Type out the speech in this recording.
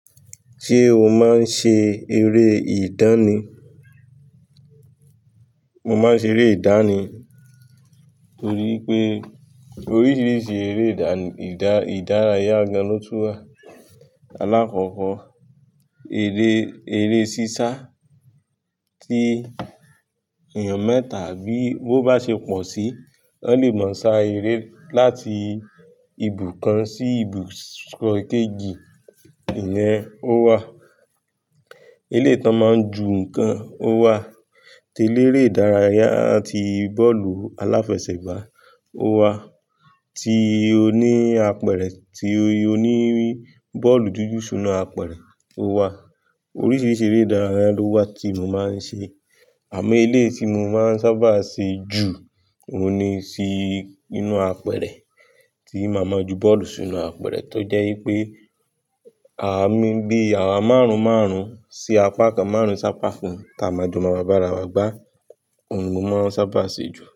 Ṣé o máa ń ṣe eré ìdánì? Mo máa ń ṣe eré ìdánì torí pé oríṣiríṣi eré ìdá-ìdá-ìdárayá gan-an ló tú wa. Alákọ̀ọ́kọ́, eré, eré sísá tí ènìyàn mẹ́ta àbí bó bá ṣe pọ̀ sí, wọ́n lè máa sá eré láti ibùkan sí ibùso kẹ́jì ìyẹn ó wà. Eléyi tan máa ń ju nǹkan ó wà. Télérè ìdárayá ti bọ́ọ̀lù aláfẹsẹ̀gbá ó wà. Ti oní apẹ̀rẹ̀ tí oní bọ́ọ̀lù dúdú súnna apẹ̀rẹ̀ ó wà. Oríṣiríṣi eré ìdárayá ló wà tí mo máa ń ṣe. Àmì elé tí mo máa ń sábà ṣe jù òun ni sí inú apẹ̀rẹ̀ tí màá mọ̀ ju bọ́ọ̀lù súnna apẹ̀rẹ̀ tó jẹ́ pé, à á máa ń gbé àwọn márùn-ún márùn-ún sí apá kan márùn-ún sí apá kan táa máa jọ máa bá ara wa gbá. Òun ni mo máa ń sábà ṣe jù.